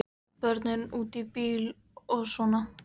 Börnin úti í bíl og svona.